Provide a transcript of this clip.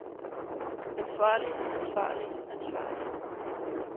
ansvarlig ansvarlig ansvarlig